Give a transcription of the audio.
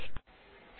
শুভবিদায়